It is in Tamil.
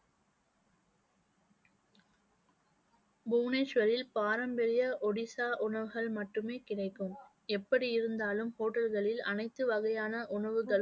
புவனேஸ்வரில் பாரம்பரிய ஒடிசா உணவுகள் மட்டுமே கிடைக்கும். எப்படி இருந்தாலும் hotel களில் அனைத்து வகையான உணவுகளும்